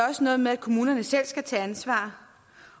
også noget med at kommunerne selv skal tage ansvar